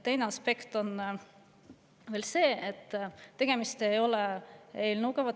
Teine aspekt on see, et tegemist ei ole eelnõuga.